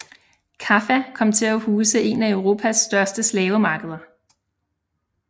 Kaffa kom til at huse en af Europas største slavemarkeder